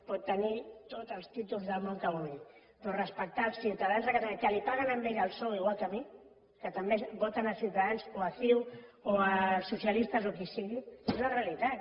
pot tenir tots els títols del món que vulgui però respectar els ciutadans de catalunya que li paguen a ell el sou igual que a mi que també voten ciutadans o ciu o els socialistes o qui sigui és la realitat